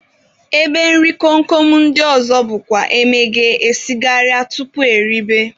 Ebe nri kom kom ndị ọzọ bụkwa emeghee esigharịa tupu eribe